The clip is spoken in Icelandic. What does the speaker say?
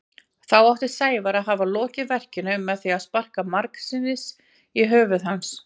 Þá átti Sævar að hafa lokið verkinu með því að sparka margsinnis í höfuð hans.